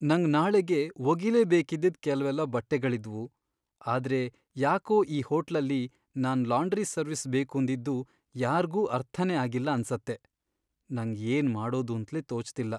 ನಂಗ್ ನಾಳೆಗೆ ಒಗಿಲೇಬೇಕಿದ್ದಿದ್ ಕೆಲ್ವೆಲ್ಲ ಬಟ್ಟೆಗಳಿದ್ವು, ಆದ್ರೆ ಯಾಕೋ ಈ ಹೋಟ್ಲಲ್ಲಿ ನಾನ್ ಲಾಂಡ್ರಿ ಸರ್ವಿಸ್ ಬೇಕೂಂದಿದ್ದು ಯಾರ್ಗೂ ಅರ್ಥನೇ ಆಗಿಲ್ಲ ಅನ್ಸತ್ತೆ, ನಂಗ್ ಏನ್ ಮಾಡೋದೂಂತ್ಲೇ ತೋಚ್ತಿಲ್ಲ.